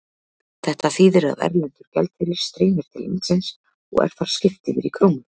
Þetta þýðir að erlendur gjaldeyrir streymir til landsins og er þar skipt yfir í krónur.